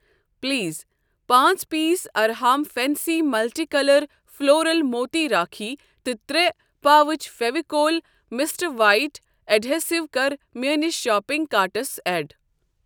Please پانٛژ piece Arham fancy multi colour floral moti rakhi تہٕ ترٛے pouch Fevicol Mr White adhesive کَر میٲنِس شاپنگ کارٹَس ایڈ۔